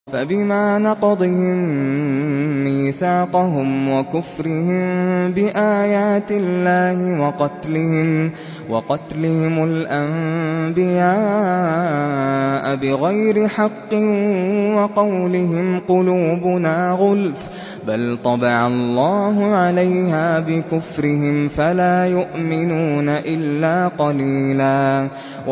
فَبِمَا نَقْضِهِم مِّيثَاقَهُمْ وَكُفْرِهِم بِآيَاتِ اللَّهِ وَقَتْلِهِمُ الْأَنبِيَاءَ بِغَيْرِ حَقٍّ وَقَوْلِهِمْ قُلُوبُنَا غُلْفٌ ۚ بَلْ طَبَعَ اللَّهُ عَلَيْهَا بِكُفْرِهِمْ فَلَا يُؤْمِنُونَ إِلَّا قَلِيلًا